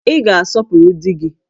Ị ga-asọpụrụ di gị!